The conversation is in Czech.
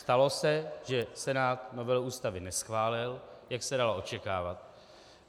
Stalo se, že Senát novelu Ústavy neschválil, jak se dalo očekávat.